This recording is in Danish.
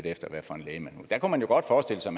efter hvad for en læge man der kunne man godt forestille sig